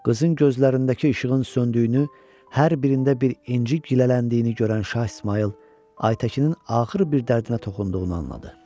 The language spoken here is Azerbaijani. Qızın gözlərindəki işığın söndüyünü, hər birində bir inci gilələndiyini görən Şah İsmayıl, Ayətəkinin axır bir dərdinə toxunduğunu anladı.